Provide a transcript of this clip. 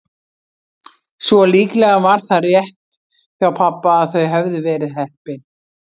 Svo líklega var það rétt hjá pabba að þau hefðu verið heppin.